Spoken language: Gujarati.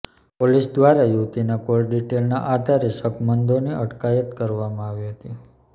પોલીસ દ્વારા યુવતીનાં કોલ ડિટેઇલનાં આધારે શકમંદોની અટકાયત કરવામાં આવી હતી